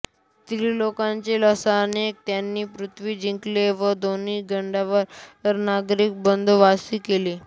त्रिलोकाच्या लालसेने त्याने पृथ्वी जिंकली व देवांना गंडरी नगरीत बंदीवासी केले